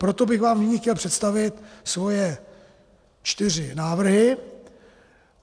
Proto bych vám nyní chtěl představit svoje čtyři návrhy.